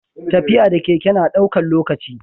tafiya da keke na daukan lokaci?